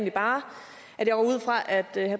det er